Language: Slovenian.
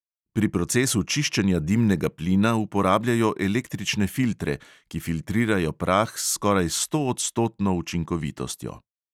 Pri procesu čiščenja dimnega plina uporabljajo električne filtre, ki filtrirajo prah s skoraj stoodstotno učinkovitostjo.